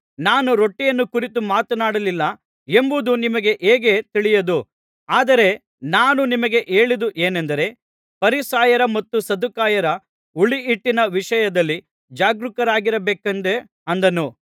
ನಾನು ರೊಟ್ಟಿಯನ್ನು ಕುರಿತು ಮಾತನಾಡಲಿಲ್ಲ ಎಂಬುದು ನಿಮಗೆ ಹೇಗೆ ತಿಳಿಯದು ಆದರೆ ನಾನು ನಿಮಗೆ ಹೇಳಿದು ಏನೆಂದರೆ ಫರಿಸಾಯರ ಮತ್ತು ಸದ್ದುಕಾಯರ ಹುಳಿಹಿಟ್ಟಿನ ವಿಷಯದಲ್ಲಿ ಜಾಗರೂಕರಾಗಿರ ಬೇಕೆಂದೇ ಅಂದನು